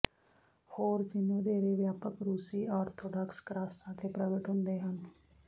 ਹੋਰ ਚਿੰਨ੍ਹ ਵਧੇਰੇ ਵਿਆਪਕ ਰੂਸੀ ਆਰਥੋਡਾਕਸ ਕ੍ਰਾਸਾਂ ਤੇ ਪ੍ਰਗਟ ਹੁੰਦੇ ਹਨ